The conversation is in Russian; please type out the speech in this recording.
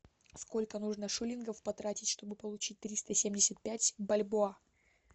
сколько нужно шиллингов потратить чтобы получить триста семьдесят пять бальбоа